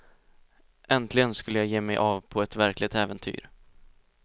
Äntligen skulle jag ge mig av på ett verkligt äventyr.